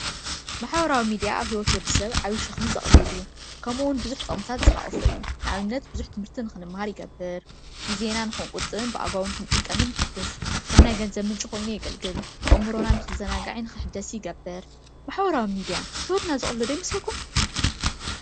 ማሕበራዊ ሚድያ ኣብ ሂወት ወዲሰብ ዓብይ ሸክሚ ዘቅልል እዩ። ከምኡውን ብዙሕ ጥቅምታት ዝሓቆፈ እዩ ።ንኣብነት ብዙሕ ትምህርቲ ክንምሃር ይገብር፣ ግዜና ንክንቁጥብን ብኣግባቡ ንክንጥቀምን ይሕግዝ፣ ከም ናይ ገንዘብ ምንጪ ኮይኑ የገልግል፣ ኣእምሮና ንክዘናጋዕን ክሕደስን ይገብር። ማሕበራዊ ሚድያ ሂወትና ዘቅልሎ ዶ ይመስለኩም?